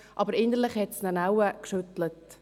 Aber innerlich hat es ihn wohl geschüttelt.